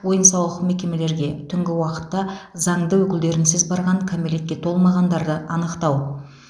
ойын сауық мекемелерге түнгі уақытта заңды өкілдерінсіз барған кәмелетке толмағандарды анықтау